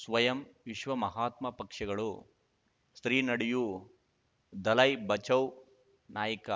ಸ್ವಯಂ ವಿಶ್ವ ಮಹಾತ್ಮ ಪಕ್ಷಗಳು ಶ್ರೀ ನಡೆಯೂ ದಲೈ ಬಚೌ ನಾಯಕ